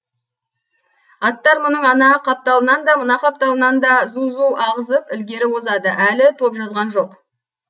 аттар мұның ана қапталынан да мына қапталынан да зу зу ағызып ілгері озады әлі топ жазған жоқ